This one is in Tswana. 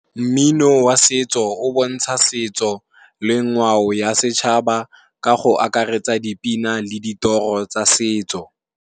Mmino wa setso o bontsha setso le ngwao ya setšhaba ka go akaretsa dipina le ditoro tsa setso.